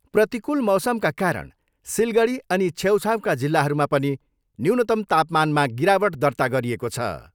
प्रतिकूल मौसमका कारण सिलगडी अनि छेउछाउका जिल्लाहरूमा पनि न्यूनतम तापमानमा गिरावट दर्ता गरिएको छ।